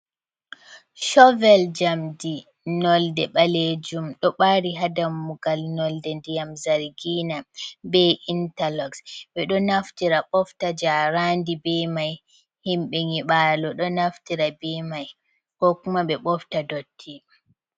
chovel jamɗi nolɗe ɓalejum ɗo ɓari ha ɗammugal ,nolɗe nɗiyam zargina ɓe intarloxs ,ɓe ɗo naftira ɓofta jaranɗi ɓe mai ,himɓe nyiɓalo ɗo naftira ɓe mai ko kuma ɓe ɓofta ɗotti.